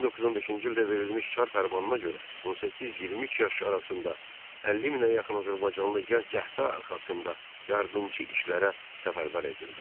1915-ci ildə verilmiş çar fərmanına görə 18-23 yaş arasında 50 minə yaxın azərbaycanlı gənc cəbhə arxasında yardımçı işlərə səfərbər edildi.